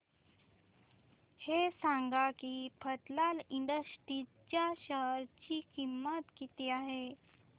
हे सांगा की मफतलाल इंडस्ट्रीज च्या शेअर ची किंमत किती आहे